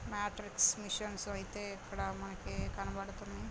Metric machines అయ్యతే ఇక్కడ మనకి కనబడ్తున్నాయి.